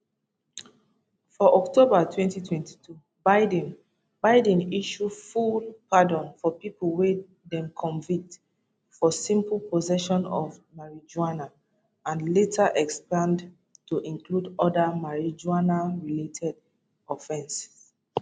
for october 2022 biden biden issue full pardon for pipo wey dem convict for simple possession of marijuana and later expand to include oda marijuanarelated offenses